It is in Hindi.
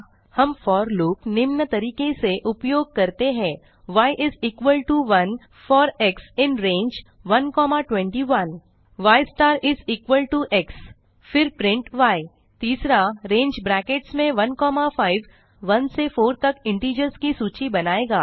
हम फोर लूप निम्न तरीके से उपयोग करते हैं y is equal to 1 for x in range121 y star is equal to x फिर प्रिंट य 3रंगे ब्रैकेट्स में 15 1 से 4 तक इंटिजर्स की सूची बनायेगा